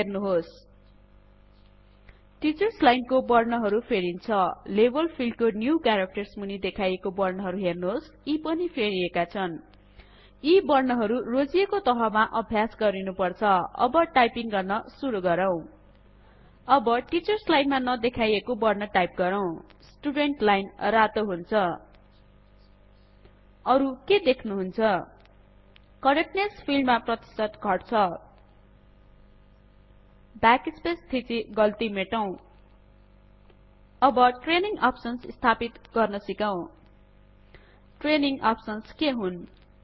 हेर्नुहोस teachers line को बर्णहरु फेरिन्छ लेभल फिल्डको न्यू कॅरेक्टर्स मुनि देखाइएको बर्णहरु हेर्नुहोस् यी पनि फेरिएका छ्न यी बर्ण हरु रोजिएको तहमा अभ्यास गरिनुपर्छ अब टाइपिंग गर्न सुरु गरौं अब टीचर्स लाइन मा नदेखाइएको बर्ण टाइप गरौं स्टुडेन्ट लाइन रातो हुन्छ अरु के देख्नुहुन्छ करेक्टनेस फिल्ड मा प्रतिशत घट्छ ब्याकस्पेस थिची गल्ती मेटौं अब ट्रेनिंग अप्सन्स् स्थापित गर्न सिकौं ट्रेनिंग अप्सन्स् के हुन